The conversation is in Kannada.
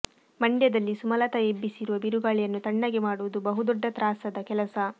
ಮಂಡ್ಯದಲ್ಲಿ ಸುಮಲತಾ ಎಬ್ಬಿಸಿರುವ ಬಿರುಗಾಳಿಯನ್ನು ತಣ್ಣಗೆ ಮಾಡುವುದು ಬಹುದೊಡ್ಡ ತ್ರಾಸದ ಕೆಲಸ